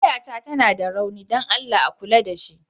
Wayata tana da rauni don Allah a kula da ita.